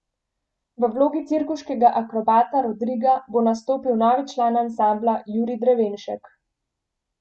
V vlogi cirkuškega akrobata Rodriga bo nastopil novi član ansambla Jurij Drevenšek.